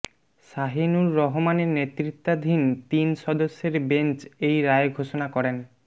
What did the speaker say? শাহীনুর রহমানের নেতৃত্বাধীন তিন সদস্যের বেঞ্চ এই রায় ঘোষণা করেন